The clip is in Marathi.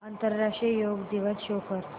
आंतरराष्ट्रीय योग दिवस शो कर